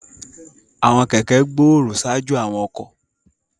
Àwọn kẹ̀kẹ́ gbòòrò ṣáájú àwọn ọkọ̀.